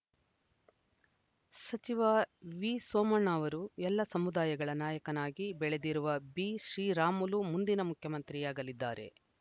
ಸಚಿವ ವಿಸೋಮಣ್ಣ ಅವರು ಎಲ್ಲ ಸಮುದಾಯಗಳ ನಾಯಕನಾಗಿ ಬೆಳೆದಿರುವ ಬಿಶ್ರೀರಾಮುಲು ಮುಂದಿನ ಮುಖ್ಯಮಂತ್ರಿಯಾಗಲಿದ್ದಾರೆ